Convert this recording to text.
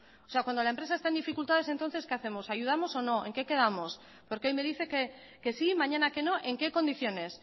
o sea cuando la empresa está en dificultades entonces qué hacemos ayudamos o no en qué quedamos porque hoy me dice que sí mañana que no en qué condiciones